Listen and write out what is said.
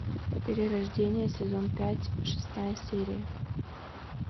перерождение сезон пять шестая серия